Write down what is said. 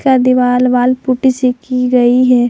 यह दीवाल wall putty से की गई है।